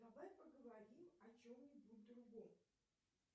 давай поговорим о чем нибудь другом